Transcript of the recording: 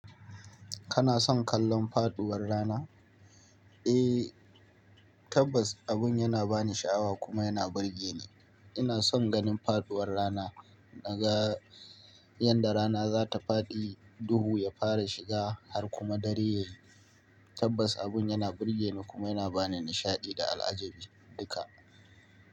Kana son kallon faɗuwar rana? Eh, tabbas abun yana bani sha'awa kuma yana burge ni. Ina son ganin faɗuwar rana, naga yanda rana za ta faɗi, duhu ya fara shiga har kuma dare yayi. Tabbas abun yana burge ni kuma yana bani nishaɗi da al'ajabi duka.